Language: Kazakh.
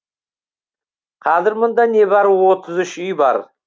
қазір мұнда небәрі отыз үш үй бар